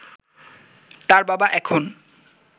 তার বাবা এখন